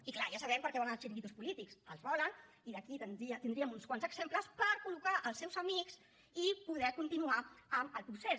i clar ja sabem per a què volen els xiringuitos polítics els volen i aquí en tindríem uns quants exemples per col·locar els seus amics i poder continuar amb el procés